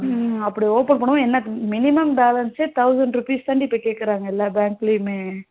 உம் அப்டி open பண்ணும் போது என்ன minimum balance say thousand rupees தாடி இப்ப கேக்குறாங்க எல்லா bank லையுமே